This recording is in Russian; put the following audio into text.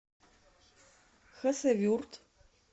хасавюрт